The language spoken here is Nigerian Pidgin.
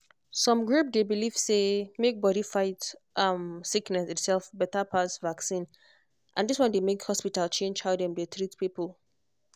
some group dey believe say make body fight um sickness itself better pass vaccine and this one dey make hospital change how dem dey treat people